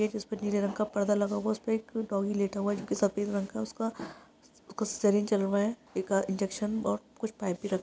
जिसपे नीले रंग का पर्दा लगा हुआ है उसपे एक डॉगी लेटा हुआ है जो की सफ़ेद रंग का है उसका है एक इंजेक्त्शन और कुछ पाइप भी राखा हुआ--